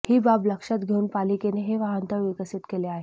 ही बाब लक्षात घेऊन पालिकेने हे वाहनतळ विकसित केला आहे